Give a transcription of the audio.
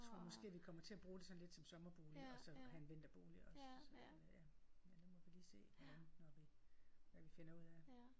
Tror måske vi kommer til at bruge det sådan lidt som sommerbolig og så have en vinterbolig også øh ja. Men nu må vi lige se hvordan når vi hvad vi finder ud af